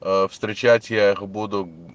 встречать я их буду